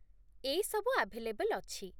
ଏଇ ସବୁ ଆଭେଲେବଲ୍ ଅଛି ।